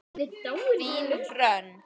Þín, Hrönn.